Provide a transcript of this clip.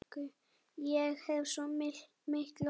Ég hef svo mikla orku.